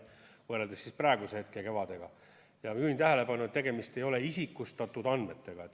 Juhin tähelepanu, et ei ole tegemist isikustatud andmetega.